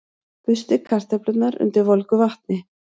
Burstið kartöflurnar undir volgu vatni.